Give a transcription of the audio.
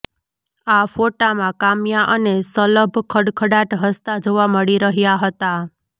આ ફોટામાં કામ્યા અને શલભ ખડખડાટ હસતા જોવા મળી રહ્યા હતા